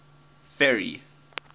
ferry